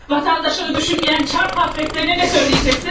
Vətəndaşını düşünməyən Çar həzretlərinə nə söyləyəcəksin?